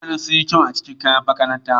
Mutanen sun yi kyau a cikin kayan makaranta.